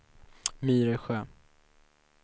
Myresjö